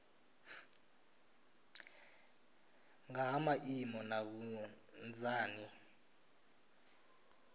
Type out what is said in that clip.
nga ha maimo na vhunzani